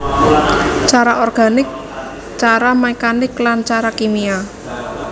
Cara organik cara mekanik lan cara kimia